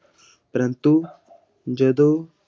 ਪ੍ਰੰਤੂ ਜਦੋਂ,